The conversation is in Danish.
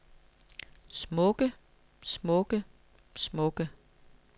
smukke smukke smukke